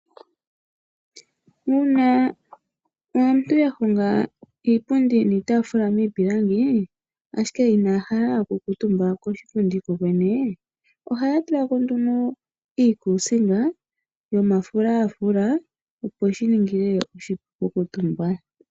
Uuna aantu yahonga iipundi niitaafula miipilangi ashike ina ya hala oku kaantumba koshipundi ko kwene, oha ya tulako nduno iikusinga yomafulafula opo shininge oshipu oku kuutumba.